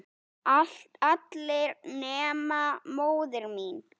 allir nema móðir mín